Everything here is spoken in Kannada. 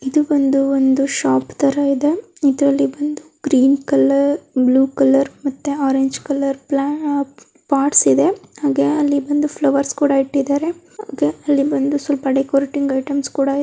ಇದು ಬಂದು ಒಂದು ಶಾಪ್ ತರ ಇದೆ. ಇದ್ರಲ್ಲಿ ಬಂದು ಗ್ರೀನ್ ಕಲರ್ ಇಲ್ಲಿ blue colour orange colour pots ಕೂಡ ಇದೆ ಅಲ್ಲಿ ಬಂದು ಫ್ಲೌರ್ಸ್ ಕೂಡ ಇಟ್ಟಿದ್ದಾರೆ ಅಲ್ಲಿ ಬಂದು ಡೆಕೊರಟಿವೆ ಐಟೆಮ್ಸ --